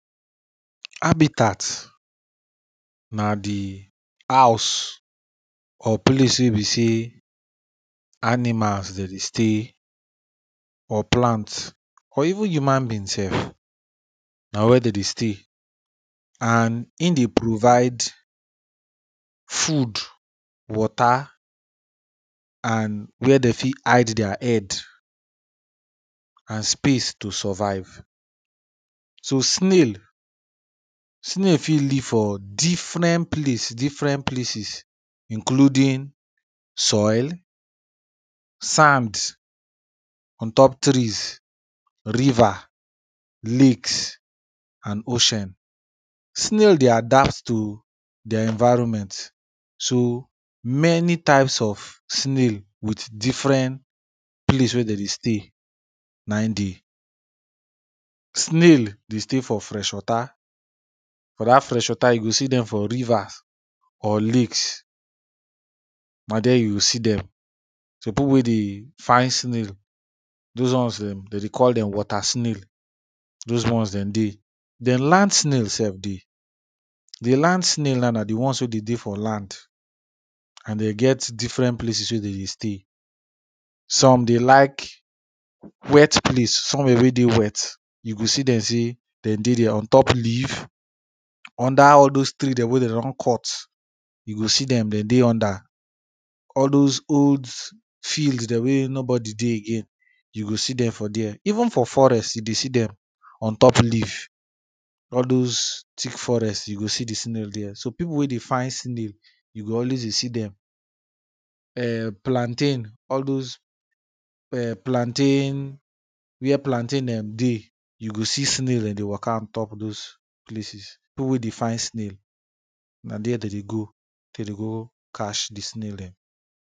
habitat na de house or place wey be say animals dey dey stay or plants or even human being self na where they dey stay and im de provide food water and where dey fit hide their head and space to survive. so snail snail fit live for different place, different places, including soil, sand, on top trees, river, lakes, and ocean snail de adapt to their environment so, many types of snail with different place where them dey stay na im dey. snail dey stay for fresh water for that fresh water you go see them for rivers or lakes na there you see them people wey de find snail those ones them, they dey call them water snail those ones them dey then land snail sef dey. the land snail now, na de ones wey de dey for land and they get different places wey dey dey stay some dey like wet place, somewhere wey dey wet you go see them say them dey there ontop leaf, under all those tree them wey they don cut, you go see them, them dey under. all those olds fields them wey nobody dey again you go see them for there. even for forest you dey see dem on top leave all those thick forest you go see the snail there. so, people wey dey find snail you go always dey see them. um plantain, all those um plantain, where plantain them dey you go see snail them dey waka on top those places people wey dey find snail na there they dey go to dey go catch the snail them.